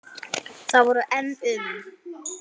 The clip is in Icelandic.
Það voru enn um